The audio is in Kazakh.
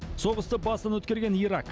соғысты басынан өткерген ирак